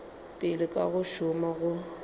pele ka go šoma go